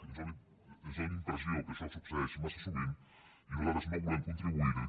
ens fa la impressió que això succeeix massa sovint i nosal·tres no volem contribuir·hi